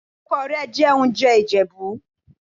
Ìkọ́kọrẹ́ jẹ́ oúnjẹ Ìjẹ̀bú.